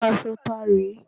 Aṣọ tá rè é?